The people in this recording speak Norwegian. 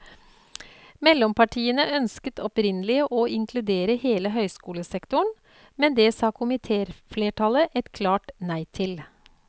Mellompartiene ønsket opprinnelig å inkludere hele høyskolesektoren, men det sa komitéflertallet et klart nei til.